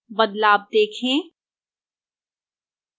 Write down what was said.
बदलाव देखें